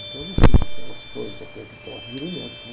Então eu vesti, o negócio todo, botei aquele troço, virei médico. Né?